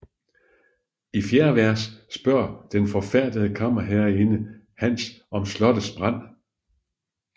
I fjerde vers spørger den forfærdede kammerherreinde Hans om slottets brand